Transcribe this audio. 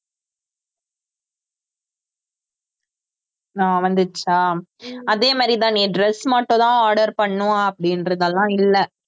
ஆஹ் வந்திடுச்சா அதே மாதிரிதான் நீ dress மட்டும்தான் order பண்ணணும் அப்படின்றதெல்லாம் இல்லை